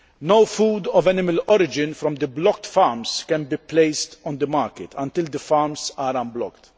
No food of animal origin from the blocked farms can be placed on the market until the farms are unblocked.